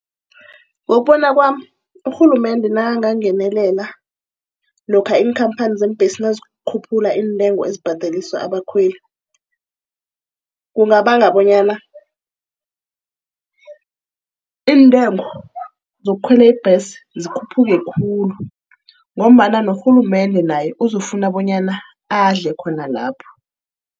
Ngokubona kwami urhulumende nakangangenelela lokha iinkamphani zeembhesi nazikhuphula iintengo ezibhadeliswa abakhweli. Kungabanga bonyana iintengo zokukhwela ibhesi zikhuphuke khulu, ngombana norhulumende naye uzokufuna bonyana adle khona lapho.